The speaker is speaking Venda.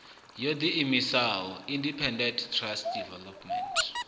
yo ḓiimisaho independent trust development